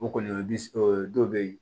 O kɔni o bi se o dɔw be ye